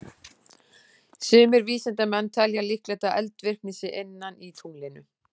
Sumir vísindamenn telja líklegt að eldvirkni sé inni í tunglinu.